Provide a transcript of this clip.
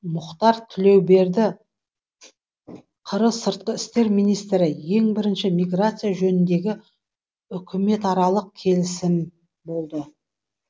мұхтар тілеуберді қр сыртқы істер министрі ең бірінші миграция жөніндегі үкіметаралық келісім болды